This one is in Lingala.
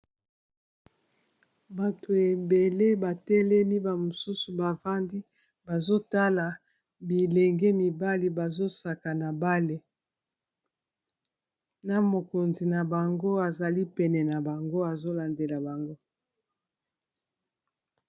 bato ebele batelemi bamosusu bafandi bazotala bilenge mibali bazosaka na bale na mokonzi na bango azali pene na bango azolandela bango